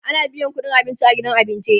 ana biyan ƙudin abinci a gidan abinci